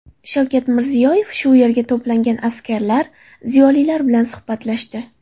Shavkat Mirziyoyev shu yerga to‘plangan askarlar, ziyolilar bilan suhbatlashdi.